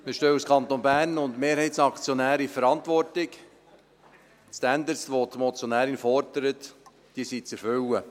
Wir stehen als Kanton Bern und Mehrheitsaktionär in der Verantwortung, die Standards, welche die Motionärin fordert, sind zu erfüllen.